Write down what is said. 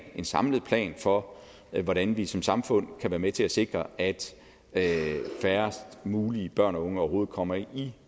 en samlet plan for hvordan vi som samfund kan være med til at sikre at at færrest mulige børn og unge overhovedet kommer i